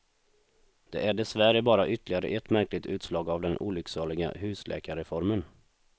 Det är dessvärre bara ytterligare ett märkligt utslag av den olycksaliga husläkarreformen.